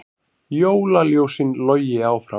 Jólaljósin logi áfram